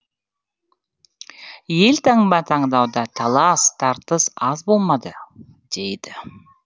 елтаңба таңдауда талас тартыс аз болмады дейді